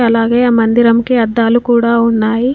అలాగే ఆ మందిరంకి అద్దాలు కూడా ఉన్నాయి.